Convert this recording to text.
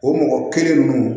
O mɔgɔ kelen ninnu